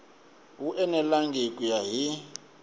wu enelangi ku ya hi